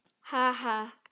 Ha ha.